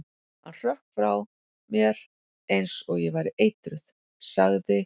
Hann hrökk frá mér eins og ég væri eitruð- sagði